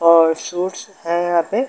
और सूट्स है यहाँ पे।